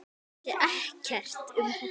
Hann vissi ekkert um þetta.